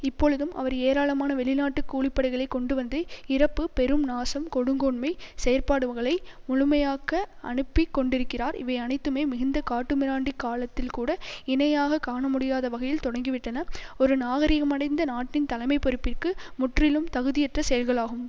இப்பொழுதும் அவர் ஏராளமான வெளிநாட்டு கூலிப்படைகளை கொண்டுவந்து இறப்பு பெரும் நாசம் கொடுங்கோன்மை செயற்பாடுகளை முழுமையாக்க அனுப்பிக் கொண்டிருக்கிறார் இவை அனைத்துமே மிகுந்த காட்டுமிராண்டி காலத்தில்கூட இணையாக காணமுடியாத வகையில் தொடங்கிவிட்டன ஒரு நாகரிகமடைந்த நாட்டின் தலைமை பொறுப்பிற்கு முற்றிலும் தகுதியற்ற செயல்களாகும்